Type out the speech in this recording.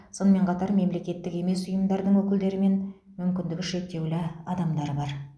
сонымен қатар мемлекеттік емес ұйымдардың өкілдері мен мүмкіндігі шектеулі адамдар бар